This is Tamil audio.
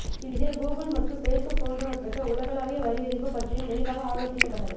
இதில் கூகுள் மற்றும் ஃபேஸ்புக் போன்றவற்றுக்கு உலகளாவிய வரி விதிப்பது பற்றியும் விரிவாக ஆலோசிக்கப்பட்டது